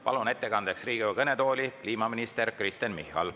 Palun ettekandjaks Riigikogu kõnetooli kliimaminister Kristen Michali.